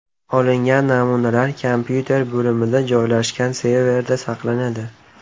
Olingan namunalar kompyuter bo‘limida joylashgan serverda saqlanadi.